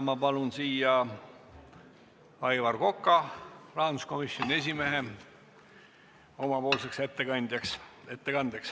Ma palun siia ettekandjaks rahanduskomisjoni esimehe Aivar Koka.